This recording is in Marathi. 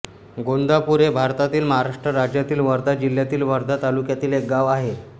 गोंदापूर हे भारतातील महाराष्ट्र राज्यातील वर्धा जिल्ह्यातील वर्धा तालुक्यातील एक गाव आहे